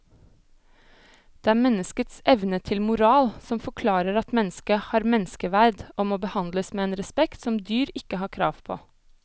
Det er menneskets evne til moral som forklarer at mennesket har menneskeverd og må behandles med en respekt som dyr ikke har krav på.